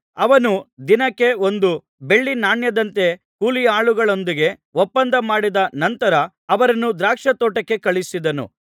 ಅವನು ದಿನಕ್ಕೆ ಒಂದು ಬೆಳ್ಳಿ ನಾಣ್ಯದಂತೆ ಕೂಲಿಯಾಳುಗಳೊಂದಿಗೆ ಒಪ್ಪಂದ ಮಾಡಿದ ನಂತರ ಅವರನ್ನು ದ್ರಾಕ್ಷಾತೋಟಕ್ಕೆ ಕಳುಹಿಸಿದನು